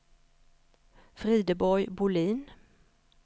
Frideborg Bolin